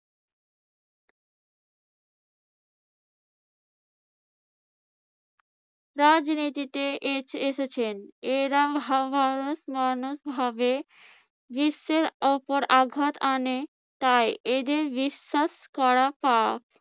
রাজনীতিতে এসে~ এসেছেন। এরকম হাবভাবে মানুষ ভাবে বিশ্বের উপর আঘাত আনে, তাই এদের বিশ্বাস করা পাপ।